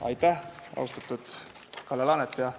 Aitäh, austatud Kalle Laanet!